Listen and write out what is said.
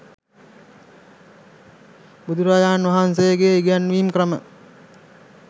බුදුරජාණන් වහන්සේගේ ඉගැන්වීම් ක්‍රම